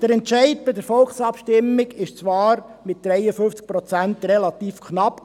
Der Entscheid bei der Volksabstimmung war zwar mit 53 Prozent relativ knapp.